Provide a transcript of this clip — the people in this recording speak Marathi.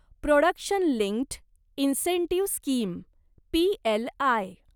production linked incentive scheme PLI